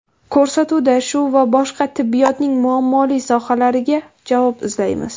Ko‘rsatuvda shu va boshqa tibbiyotning muammoli sohalariga javob izlaymiz.